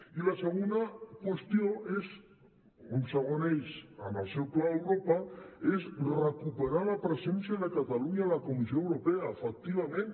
i la segona qüestió un segon eix en el seu pla europa és recuperar la presència de catalunya a la comissió europea efectivament